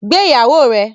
Gbé ìyàwó rẹ!